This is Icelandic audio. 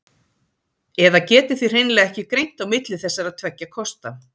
Eða getið þið hreinlega ekki greint á milli þessara tveggja kosta?